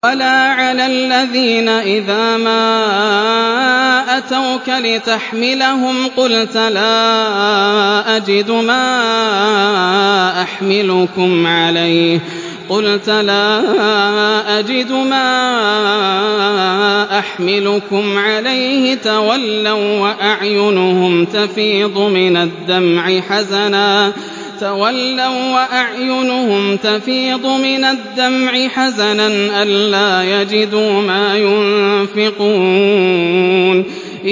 وَلَا عَلَى الَّذِينَ إِذَا مَا أَتَوْكَ لِتَحْمِلَهُمْ قُلْتَ لَا أَجِدُ مَا أَحْمِلُكُمْ عَلَيْهِ تَوَلَّوا وَّأَعْيُنُهُمْ تَفِيضُ مِنَ الدَّمْعِ حَزَنًا أَلَّا يَجِدُوا مَا يُنفِقُونَ